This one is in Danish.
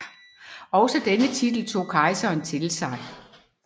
Også denne titel tog kejserne til sig